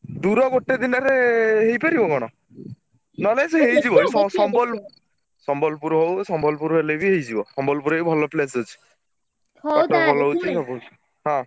ଦୂର ଗୋଟେ ଦିନରେ ହେଇ ପାରିବ କଣ ? ନହେଲେ ସିଏ ହେଇଯିବ ସମ୍ବଲପୁର ହଉ ସମ୍ବଲପୁର ହେଲେବି ହେଇଯିବ ସମ୍ବଲପୁରରେ ବି ଭଲ place ଅଛି। ହଁ।